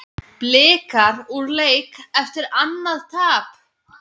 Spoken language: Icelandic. Blikar úr leik eftir annað tap